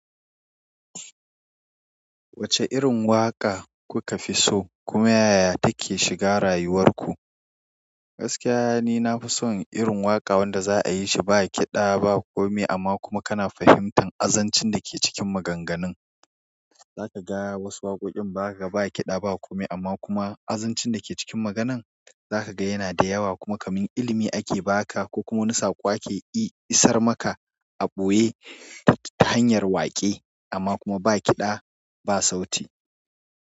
Wacce irin waƙa kuka fi so kuma yaya take shiga rayuwar ku? Gaskiya ni na fi son irin waƙa wanda za a yi shi ba kiɗa ba kome amma kuma kana fahimtan azancin da ke cikin maganganun. Zaka ga wasu waƙoƙin ba kiɗa ba kome amma kuma azancin da ke cikin maganan za ka ga yana da yawa kuma kamin ilimi ake ba ka ko kuma wani saƙo ake eh isar maka a ɓoye ta hanyar waƙe amma kuma ba kiɗa ba sauti.